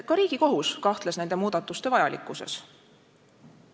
Ka Riigikohus kahtles nende muudatuste vajalikkuses.